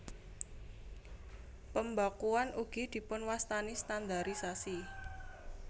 Pembakuan ugi dipunwastani standarisasi